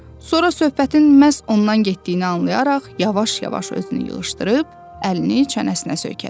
Sonra söhbətin məhz ondan getdiyini anlayaraq yavaş-yavaş özünü yığışdırıb əlini çənəsinə söykədi.